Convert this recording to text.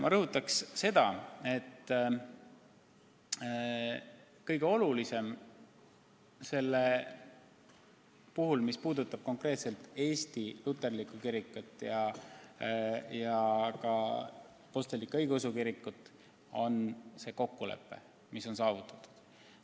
Ma rõhutan veel kord, et mis puudutab konkreetselt Eesti luterlikku kirikut ja meie apostlik-õigeusu kirikut, siis kõige olulisem on kokkulepe, mis on saavutatud.